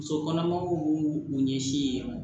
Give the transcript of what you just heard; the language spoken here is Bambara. Muso kɔnɔmaw b'u u ɲɛsin yen nɔ